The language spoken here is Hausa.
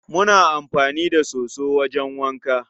Muna amfani da soso wajen wanka.